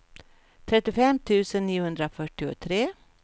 trettiofem tusen niohundrafyrtiotre